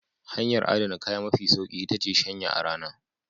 Hanyar adana kaya mafi sauki iya ce shanyawa a rana.